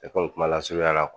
komi kuma lasurunyala